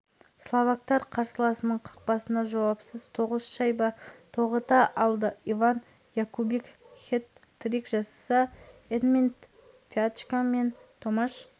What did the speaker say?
словактар қарсыласының қақпасына жауапсыз тоғыз шайба тоғыта алды иван якубик хет-трик жасаса эдмунд пьячка мен томаш